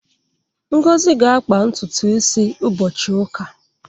Ngozi ga-akpa ntutu isi ụbọchị ụka.